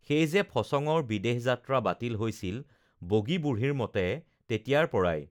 সেই যে ফচঙৰ বিদেশ যাত্ৰা বাতিল হৈছিল বগী বুঢ়ীৰ মতে তেতিয়াৰ পৰাই